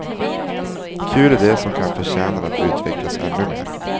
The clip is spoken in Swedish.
Kul idé som kan förtjänar att utvecklas ännu mer.